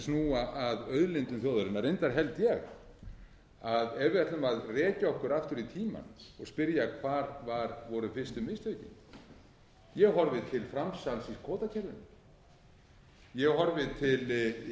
snúa að auðlindum þjóðarinnar reyndar held ég að ef við ætlum að rekja okkur aftur í tímann og spyrja hvar voru fyrstu mistökin ég horfi til framsals í kvótakerfinu ég horfi til